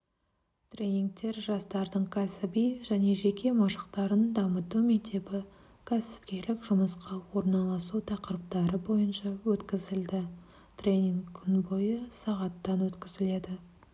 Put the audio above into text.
тренингтер жастардың кәсіби және жеке машықтарын дамыту мектебі кәсіпкерлік жұмысқа орналасу тақырыптары бойынша өткізілді тренинг күн бойы сағаттан өткізіледі